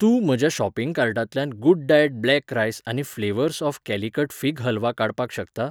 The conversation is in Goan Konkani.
तूं म्हज्या शॉपिंग कार्टांतल्यान गुडडाएट ब्लॅक रायस आनी flavours of Calicut fig halwa काडपाक शकता?